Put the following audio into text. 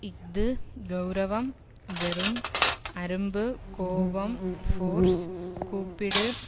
இஃது கெளரவம் வெறும் அரும்பு கோபம் ஃபோர்ஸ் கூப்பிடு